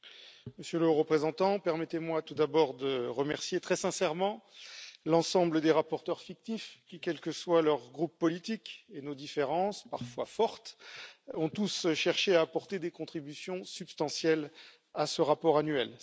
Madame la Présidente, Monsieur le Haut représentant, permettez moi tout d'abord de remercier très sincèrement l'ensemble des rapporteurs fictifs qui, quels que soient leurs groupes politiques et nos différences parfois fortes, ont tous cherché à apporter des contributions substantielles à ce rapport annuel.